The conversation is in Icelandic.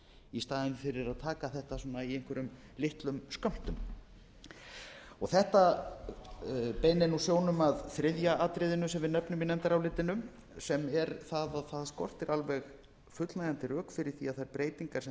í staðinn fyrir að taka þetta svona í einhverjum litlum skömmtum þetta beinir sjónum að þriðja atriðinu sem við nefnum í nefndarálitinu sem er að það skortir alveg fullnægjandi rök fyrir því að þær breytingar sem